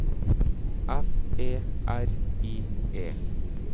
F E R I E